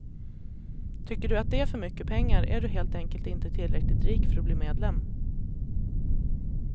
Tycker du att det är för mycket pengar, är du helt enkelt inte tillräckligt rik för att bli medlem.